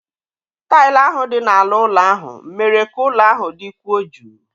Taịlị ahụ dị n'ala ụlọ ahụ mere ka ụlọ ahụ dịkwuo jụụ.